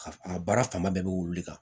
Ka a baara fanba bɛɛ bɛ wulu de kan